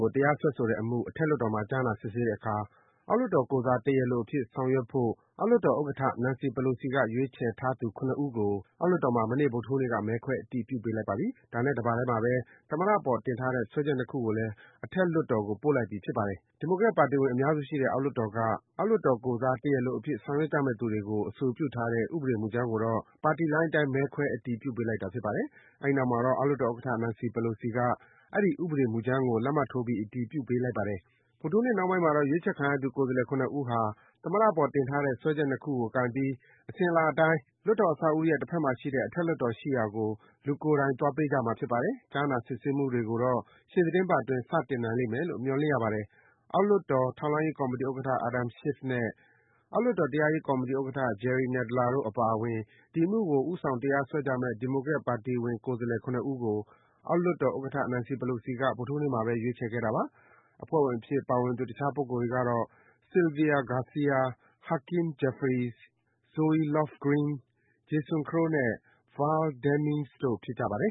ကို တရားစွဲဆိုထားတဲ့ အမှု အထက်လွှတ်တော်မှာ ကြားနာစစ်ဆေးတဲ့အခါ အောက်လွှတ်တော် ကိုယ်စား တရားလိုအဖြစ် ဆောင်ရွက်ဖို့ အောက်လွှတ်တော်ဥက္ကဌ Nancy Pelosi က ရွေးချယ်ထားသူ ၇ ဦးကို အောက်လွှတ်တော်မှာ မနေ့ ဗုဒ္ဓဟူးနေ့က မဲခွဲ အတည်ပြုပေးလိုက်ပါပြီ။ အဲဒါနဲ့ တပါတည်းမှာဘဲ သမ္မတ အပေါ် တင်ထားတဲ့ စွဲချက် ၂ ခုကိုလည်း အထက်လွှတ်တော်ကို ပို့လိုက်ပြီ ဖြစ်ပါတယ်။ ဒီမိုကရက်ပါတီဝင် အများစုရှိတဲ့ အောက်လွှတ်တော်က အောက်လွှတ်တော် ကိုယ်စား တရားလိုအဖြစ် ဆောင်ရွက်ကြမယ့် သူတွေကို အဆိုပြုထားတဲ့ ဥပဒေမူကြမ်းကိုတော့ ပါတီလိုင်း အတိုင်း မဲခွဲ အတည်ပြုပေးလိုက်တာ ဖြစ်ပါတယ်။ အဲဒီနောက်မှာတော့ အောက်လွှတ်တော် ဥက္ကဌ Nancy Pelosi က အဲဒီ ဥပဒေမူကြမ်းကို လက်မှတ်ထိုးပြီး အတည်ပြုပေးလိုက်ပါတယ်။ ဗုဒ္ဓဟူးနေ့နှောင်းပိုင်း ရွေးချယ်ခံရသူ ကိုယ်စားလှယ် ၇ ဦးဟာ သမ္မတအပေါ် တင်ထားတဲ့ စွဲချက် ၂ ခုကို ကိုင်ပြီး အစဉ်အလာအတိုင်း လွှတ်တော်အဆောက်အဦးရဲ့ တဘက်မှာရှိတဲ့ အထက်လွှတ်တော်ရှိရာကို လူကိုယ်တိုင် သွားပေးကြမှာ ဖြစ်ပါတယ်။ ကြားနာ စစ်ဆေးမှုတွေကိုတော့ ရှေ့သီတင်းပတ် အတွင်း စတင်နိုင်လိမ့်မယ်လို့ မျှော်လင့်ရပါတယ်။ အောက်လွှတ်တော် ထောက်လှမ်းရေး ကော်မီတီဥက္ကဌ Adam Schiff နဲ့ အောက်လွှတ်တော် တရားရေးကော်မီတီ ဥက္ကဌ Jerry Nadler တို့ အပါအဝင် ဒီအမှုကို ဦးဆောင် တရားစွဲကြမယ့် ဒီမိုကရက်ပါတီဝင် ကိုယ်စားလှယ် ၇ ဦးကို အောက်လွှတ်တော်ဥက္ကဌ Nancy Pelosi က ဗုဒ္ဓဟူးနေ့မှာဘဲ ရွေးချယ်ခဲ့တာပါ။ အဖွဲ့ဝင်အဖြစ် ပါဝင်သူ တခြားပုဂ္ဂိုလ်တွေကတော့ Sylvia Garcia ၊ Hakeem Jeffries ၊ Zoe Lofgren ၊ Jason Crow နဲ့ Val Demings တို့ ဖြစ်ကြပါတယ်